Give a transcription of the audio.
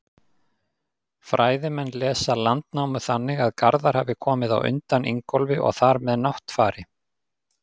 Fræðimenn lesa Landnámu þannig að Garðar hafi komið á undan Ingólfi og þar með Náttfari.